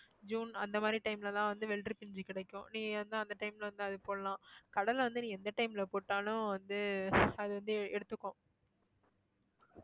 June அந்த மாதிரி time ல தான் வந்து வெள்ளரிப்பிஞ்சு கிடைக்கும் நீ வந்து அந்த time ல வந்து அத போடலாம் கடலை வந்து நீ எந்த time ல போட்டாலும் வந்து அது வந்து எடுத்துக்கும்